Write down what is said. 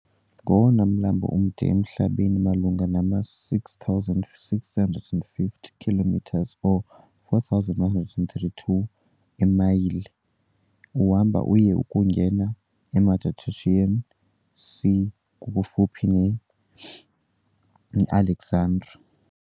Ngowona mlambo mde emhlabeni malunga nama, 6,650 km or 4,132 eemayile, uhamba uye kungena kwi Mediterranean Sea kufuphi ne-Alexandria.